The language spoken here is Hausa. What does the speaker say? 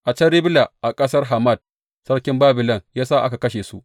A can Ribla, a ƙasar Hamat, sarkin Babilon ya sa aka kashe su.